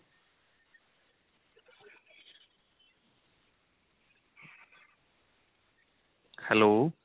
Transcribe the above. hello